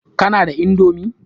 Kana da indomi?